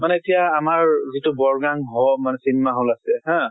মানে এতিয়া আমাৰ যিটো hall মানে cinema hall আছে হা